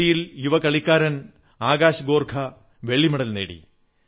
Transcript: ഗുസ്തിയിൽ യുവ കളിക്കാരൻ ആകാശ് ഗോർഖ വെള്ളി മെഡൽ നേടി